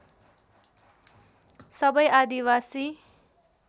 सबै आदिवासी